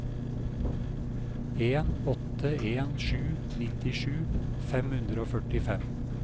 en åtte en sju nittisju fem hundre og førtifem